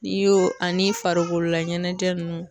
N'i y'o ani farikolola ɲɛnɛjɛ nunnu